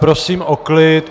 Prosím o klid.